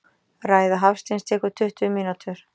Ræða Hafsteins tekur tuttugu mínútur.